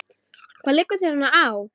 Hvað liggur þér svona á?